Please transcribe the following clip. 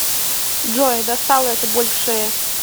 джой достала эта боль в шее